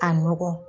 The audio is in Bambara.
Ka nɔgɔ